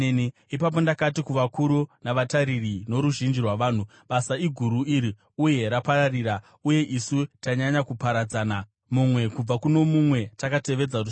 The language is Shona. Ipapo ndakati kuvakuru, navatariri noruzhinji rwavanhu, “Basa iguru iri uye rapararira, uye isu tanyanya kuparadzana mumwe kubva kuno mumwe takatevedza rusvingo.